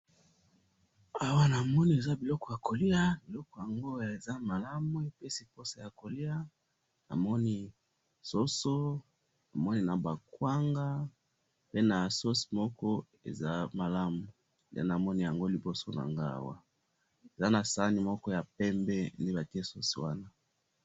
Awa na moni eza biloko ya kolia, biloko yango eza malamu, epesi posa ya kolia, na moni soso, pe na ba kwanga, pe na sauce moko eza malamu ,nde na moni yango liboso na nga Awa, eza na sani moko ya pembe nde bati sauce wana.